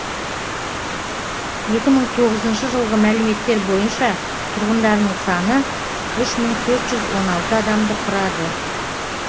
екі мың тоғызыншы жылғы мәліметтер бойынша тұрғындарының саны үш мың төрт жүз он алты адамды құрады